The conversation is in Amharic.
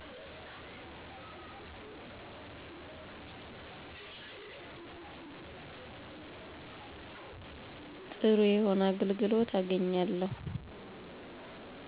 ጥሩ የሆነ አገልግሎት አገኛለው